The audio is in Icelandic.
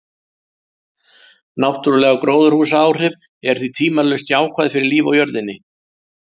Náttúruleg gróðurhúsaáhrif eru því tvímælalaust jákvæð fyrir líf á jörðinni.